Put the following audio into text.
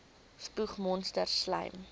spoeg monsters slym